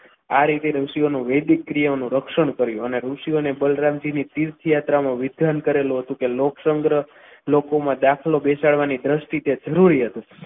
આ રીતે ઋષિઓનું વૈદિક ક્રિયાઓનું રક્ષણ કર્યું અને ઋષિઓ ને બલરામજીની તીર્થયાત્રામાં વિધાન કરેલું હતું કે લોક સંગ્રહ લોકોમાં દાખલો બેસાડવાની તે દ્રષ્ટિ જરૂરી હતી.